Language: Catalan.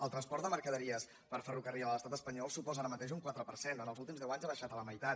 el transport de mercaderies per ferrocarril a l’estat espanyol suposa ara mateix un quatre per cent els últims deu anys ha baixat a la meitat